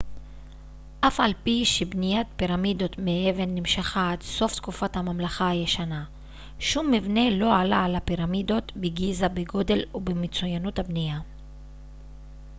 אף על פי שבניית פירמידות מאבן נמשכה עד סוף תקופת הממלכה הישנה שום מבנה לא עלה על הפירמידות בגיזה בגודל ובמצוינות הבנייה